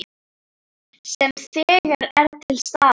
Sem þegar er til staðar.